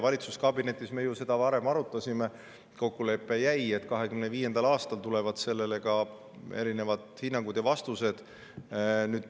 Valitsuskabinetis me seda varem arutasime ja jäi kokkulepe, et 2025. aastal tulevad selle kohta erinevad hinnangud ja vastused.